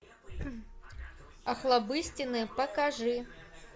охлобыстины покажи